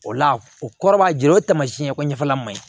O la o kɔrɔ b'a jira o tamasiyɛn ko ɲɛfɛla man ɲi